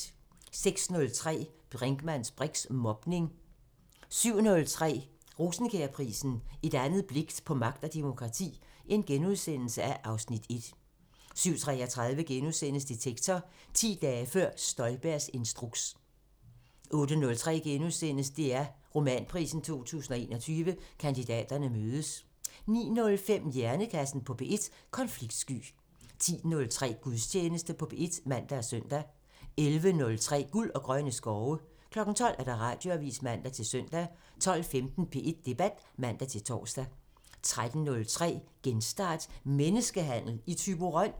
06:03: Brinkmanns briks: Mobning 07:03: Rosenkjærprisen: Et andet blik på magt og demokrati (Afs. 1)* 07:33: Detektor: 10 dage før Støjbergs instruks * 08:03: DR Romanprisen 2021 – Kandidaterne mødes * 09:05: Hjernekassen på P1: Konfliktsky 10:03: Gudstjeneste på P1 (man og søn) 11:03: Guld og grønne skove 12:00: Radioavisen (man-søn) 12:15: P1 Debat (man-tor) 13:03: Genstart: Menneskehandel i Thyborøn?